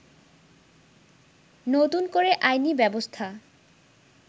নতুন করে আইনি ব্যবস্থা